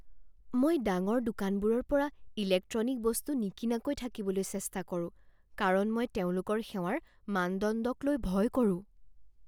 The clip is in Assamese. মই ডাঙৰ দোকানবোৰৰ পৰা ইলেক্ট্ৰনিক বস্তু নিকিনাকৈ থাকিবলৈ চেষ্টা কৰোঁ কাৰণ মই তেওঁলোকৰ সেৱাৰ মানদণ্ডকলৈ ভয় কৰোঁ।